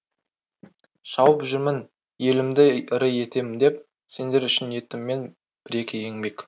шауып жүрмін елімді ірі етем деп сендер үшін еттім мен бір екі еңбек